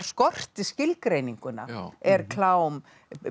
skorti skilgreininguna er klám